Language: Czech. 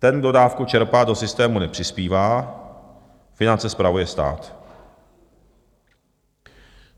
Ten kdo dávku čerpá, do systému nepřispívá, finance spravuje stát.